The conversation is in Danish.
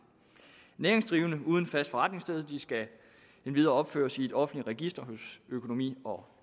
næringsdrivende uden et fast forretningssted skal endvidere opføres i et offentligt register hos økonomi og